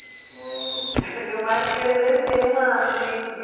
Uhum, E o marisqueiro dele tem uma um tipo de